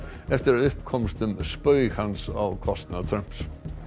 eftir að upp komst um spaug hans á kostnað Trumps